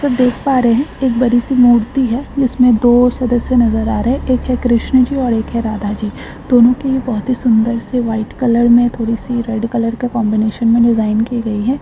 तो देख पा रहे हैं एक बड़ी सी मूर्ति है जिसमें दो सदस्य नजर आ रहे हैं एक है कृष्ण जी और एक है राधा जी दोनों की बहुत ही सुंदर से वाइट कलर में थोड़ी सी रेड कलर का कंबीनेशन में डिजाइन की गई है।